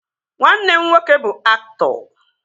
Nwanne m nwoke bụ aktọ